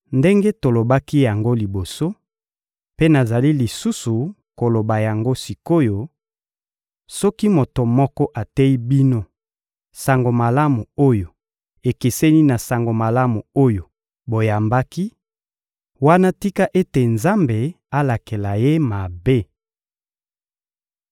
Ndenge tolobaki yango liboso, mpe nazali lisusu koloba yango sik’oyo: soki moto moko ateyi bino sango malamu oyo ekeseni na Sango Malamu oyo boyambaki, wana tika ete Nzambe alakela ye mabe!